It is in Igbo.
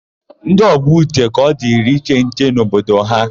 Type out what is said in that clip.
Ndị ọgbọ Uche ka ọ dịrị iche nche n'obodo ha.